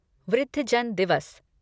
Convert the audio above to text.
वृद्धजन दिवस